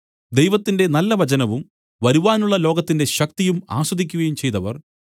ദൈവത്തിന്റെ നല്ല വചനവും വരുവാനുള്ള ലോകത്തിന്റെ ശക്തിയും ആസ്വദിക്കുകയും ചെയ്തവർ